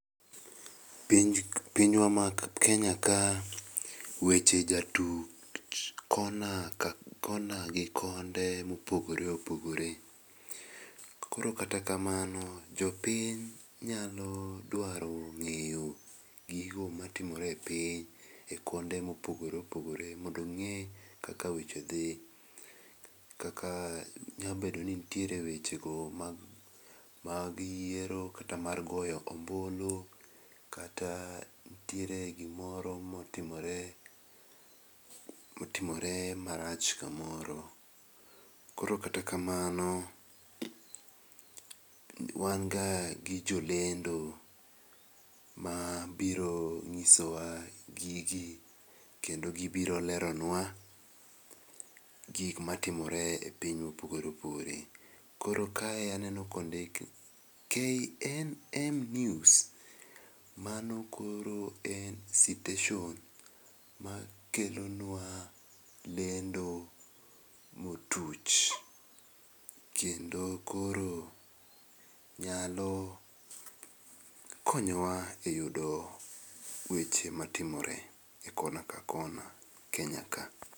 Pinywa maKenya ka weche jatuj kona gi konde mopogore opogore. Koro kata kamano jopiny nyalo dwaro ng'eyo gigo matimore e piny e konde mopogore opogore mondo ong'e kaka weche dhi kaka nyabedoni ntiere wechego mag yiero kata mar goyo ombulu, kata ntiere gimoro motimore, motimore marach kamoro. Koro kata kamano wan ga gi jolendo mabiro nyisowa gigi kendo gibiro leronwa gikma timore e piny mopogore opogore. Koro kae aneno kondik KNM NEWS. Mano koro en siteshon makelo nwa lendo motuch, kendo koro nyalo konyowa e yudo weche matimore e kona ka kona Kenya ka.